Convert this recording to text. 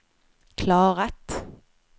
klarat